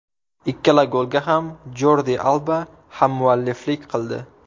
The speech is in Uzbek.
Ikkala golga ham Jordi Alba hammualliflik qildi.